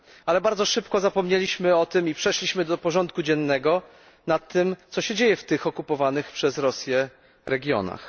Ale bardzo szybko zapomnieliśmy o tym i przeszliśmy do porządku dziennego nad tym, co się dzieje w tych okupowanych przez Rosję regionach.